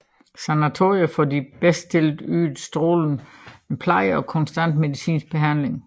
Sanatorier for de bedre stillede ydede strålende pleje og konstant medicinsk behandling